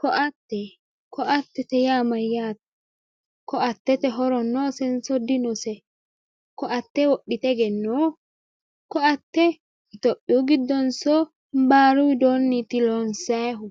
ko"atte ko"attete yaa mayyate" ko"attete horo noosenso dinose? ko"atte itiyophiyu giddonso baaru widooti loonsayiihu?